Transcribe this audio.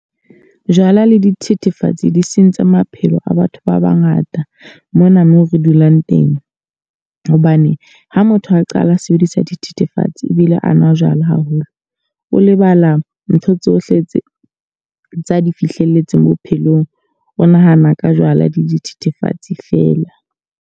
Jwala le dithethefatsi di sentse maphelo a batho ba bangata mona mo re dulang teng. Hobane ha motho a qala a sebedisa dithethefatsi ebile a nwa jwala haholo. O lebala ntho tsohle tse tsa di fihlelletseng bophelong. O nahana ka jwala le dithethefatsi fela.